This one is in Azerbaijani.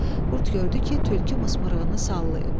Qurd gördü ki, tülkü mısmırığını sallayıb.